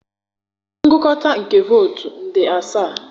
ngụkọta nke votu nde asaa?